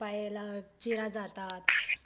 पायाला चिरा जातात.